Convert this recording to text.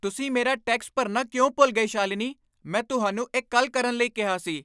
ਤੁਸੀਂ ਮੇਰਾ ਟੈਕਸ ਭਰਨਾ ਕਿਉਂ ਭੁੱਲ ਗਏ, ਸ਼ਾਲਿਨੀ? ਮੈਂ ਤੁਹਾਨੂੰ ਇਹ ਕੱਲ੍ਹ ਕਰਨ ਲਈ ਕਿਹਾ ਸੀ।